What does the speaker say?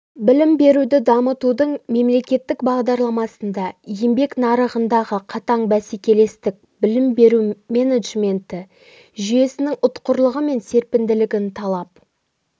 білім беруді дамытудың мемлекеттік бағдарламасында еңбек нарығындағы қатаң бәсекелестік білім беру менеджменті жүйесінің ұтқырлығы мен серпінділігін талап